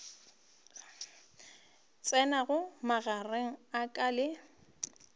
tsenago magareng a ka le